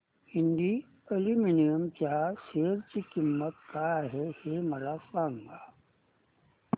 Hind aluminium च्या share ची किंमत काय आहे हे सांगा